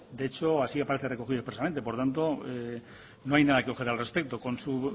de hecho así aparece recogido expresamente por tanto no hay nada que objetar al respecto con su